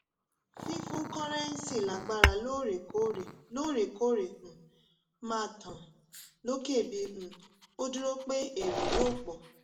fífún kọ́rẹ́nńsì lágbára lóòrèkóòrè lóòrèkóòrè um máa tàn lókè bí um ó dúró pẹ́ èrè yóò pọ̀.